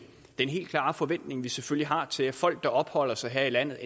den helt klare forventning vi selvfølgelig har til folk der enten opholder sig her i landet